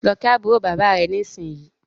lọ kí àbúrò bàbá rẹ nisinyi!